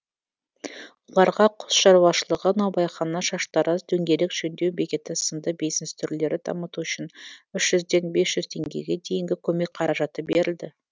оларға құс шаруашылығы наубайхана шаштараз дөңгелек жөндеу бекеті сынды бизнес түрлерін дамыту үшін үш жүзден бес жүз теңгеге дейінгі көмек қаражаты берілді